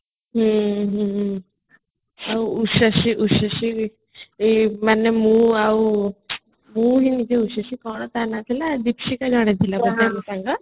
ହୁଁ ହୁଁ ଆଉ ଉଶ୍ରୀଶ୍ରୀ ଉଶ୍ରୀଶ୍ରୀ ମାନେ ମୁଁ ଆଉ ଉଶ୍ରୀଶ୍ରୀ କଣ ତା ନା thila ଦୀପଶିକା